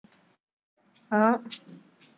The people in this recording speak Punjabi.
ਹਾਂ।